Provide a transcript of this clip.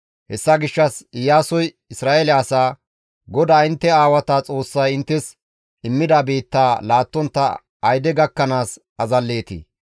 Hessa gishshas Iyaasoy Isra7eele asaa, «GODAA intte aawata Xoossay inttes immida biittaa laattontta ayde gakkanaas azalleetii?